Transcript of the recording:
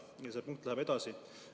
Ja see punkt läheb edasi.